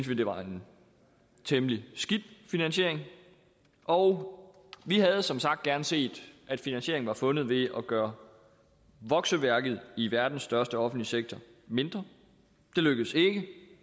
vi det var en temmelig skidt finansiering og vi havde som sagt gerne set at finansieringen var fundet ved at gøre vokseværket i verdens største offentlige sektor mindre det lykkedes ikke